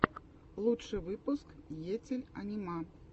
лучший выпуск етель анима